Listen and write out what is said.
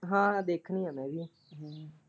ਹਾਂ ਦੇਖਣੀ ਆ ਮੈਂ ਵੀ।